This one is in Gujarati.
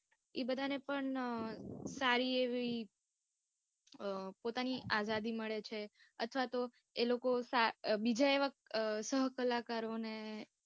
એ બધા ને પણ સારી એવી અમ પોતાની આઝાદી મળે છે, અથવા તો એ લોકો સા અમ બીજા એવા સહકલાકારો ને